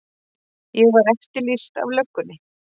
Ég var eftirlýst af löggunni.